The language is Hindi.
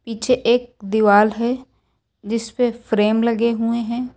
पीछे एक दीवाल है जिस पे फ्रेम लगे हुए हैं।